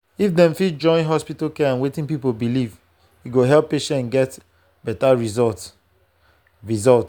if dem fit join hospital care and wetin people believe e go help patients get better result. result.